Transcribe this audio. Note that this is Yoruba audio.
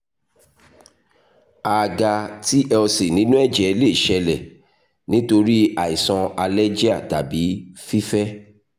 a a ga tlc ninu ẹjẹ le ṣẹlẹ nitori aisan alergia tabi fifẹ